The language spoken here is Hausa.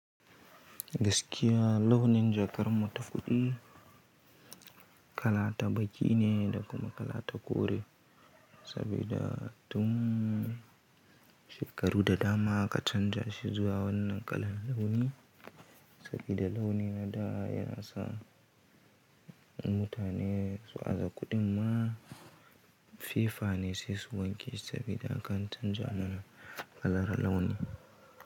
Gaskiya launi jakar mu ta fiɗin kala ta baki ne da kuma kala ta kore, sabida tun shekaru da dama aka canza shi zuwa wannan kalan launi, sabida launin na da yana sa mutane su aza kuɗin ma fefa ne sai su wanke sabida aka canza mana kalar launi.